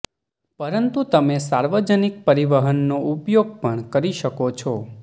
પરંતુ તમે સાર્વજનિક પરિવહનનો ઉપયોગ પણ કરી શકો છો